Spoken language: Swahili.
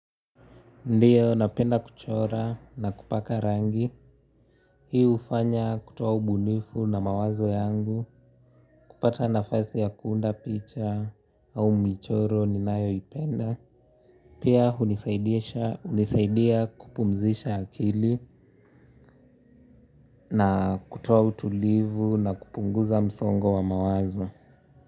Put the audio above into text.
Ndio, napenda kuchora na kupaka rangi. Hii hufanya kutoa ubunifu na mawazo yangu. Kupata nafasi ya kuunda picha au michoro ninayoipenda. Pia hunisaidia kupumzisha akili na kutoa utulivu na kupunguza msongo wa mawazo.